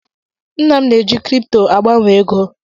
Nna m na-eji krypto agbanwe ego.